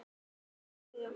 Elsku mamma mín er látin.